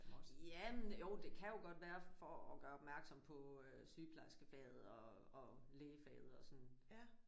Jamen jo det kan jo godt være for at gøre opmærksom på sygeplejerskefaget og og lægefaget og sådan